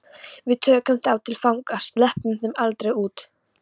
Við tökum þá til fanga. sleppum þeim aldrei út.